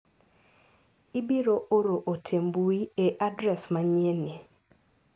Ibiro oro ote mar mbui e adres manyien ni.